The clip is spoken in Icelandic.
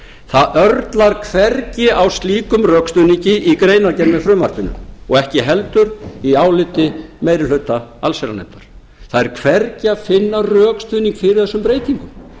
það örlar hvergi á slíkum rökstuðningi í greinargerð með frumvarpinu og ekki heldur í áliti meiri hluta allsherjarnefndar það er hvergi að finna rökstuðning fyrir þessum breytingum